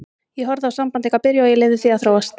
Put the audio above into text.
Ég horfði á samband ykkar byrja og ég leyfði því að þróast.